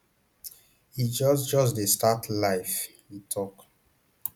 e just just dey start life e tok